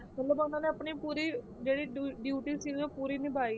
ਮਤਲਬ ਉਹਨਾਂ ਨੇ ਆਪਣੀ ਪੂਰੀ ਜਿਹੜੀ ਡ~ duty ਸੀ ਉਹ ਪੂਰੀ ਨਿਭਾਈ।